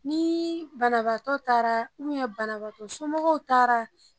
Ni banabagatɔ taara banabagatɔ somɔgɔw taara